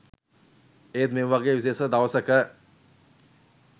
ඒත් ‍මේ වගේ විශේෂ දවසක